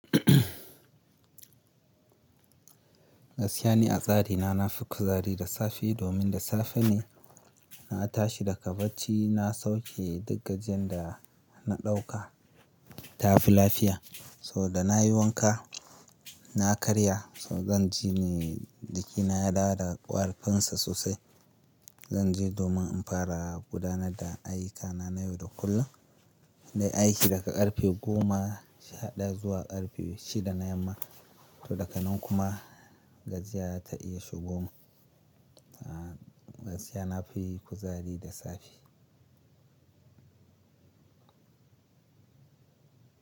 Gaskiya ni a tsari na, na fi kuzari da safe domin da safe ne na tashi daga bacci. Na sauke duk gajiyn ada na ɗauka, ta fi lafiya. So da na yi wanka, na karya, so zan ji ne jikina ya dawo da ƙarfin sa sosai. Zan je domin in fara gudanar da ayyukana na yau da kullum. Na yi aiki daga ƙarfe goma, sha ɗaya, zuwa ƙarfe shida na yamma. To daga nan kuma gaziya ta iya shigoma. Ah gaskiya na fi kuzari da safe.